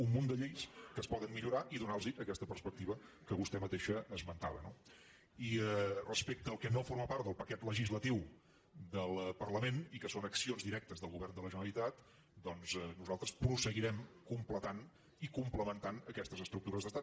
un munt de lleis que es poden millorar i donar·los aques·ta perspectiva que vostè mateixa esmentava no i respecte al que no forma part del paquet legislatiu del parlament i que són accions directes del govern de la generalitat doncs nosaltres seguirem comple·tant i complementant aquestes estructures d’estat